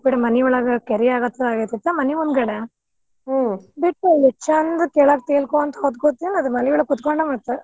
ಬಿಡ್ ಮನಿಯೊಳಗ ಕೆರಿಆಗಾಕತೈತ ಮನಿಯೊಂಗದೆ ಓ ಬಿಟ್ಟ್ ನೋಡು ಚಂದ್ ತೆಲ್~ ತೆಲಕೊಂತ ಹೊದ್ಕೊತಿ ಆದ್ ಮನಿಯೊಳಗ ಕೂತ್ಕೊಂಡ ಮತ್.